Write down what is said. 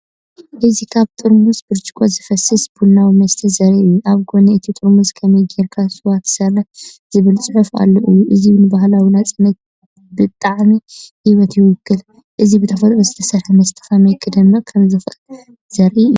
እዚ ካብ ጥርሙዝ ብርጭቆ ዝፈስስ ቡናዊ መስተ ዘርኢ እዩ። ኣብ ጎኒ እቲ ጥርሙዝ “ከመይ ጌርካ ስዋ ትሰርሕ” ዝብል ጽሑፍ ኣሎ እዩ። እዚ ንባህላዊ ናጽነትን ጣዕሚ ህይወትን ይውክል። እዚ ብተፈጥሮ ዝተሰርሐ መስተ ከመይ ክደምቕ ከም ዝኽእል ዘርኢ እዩ።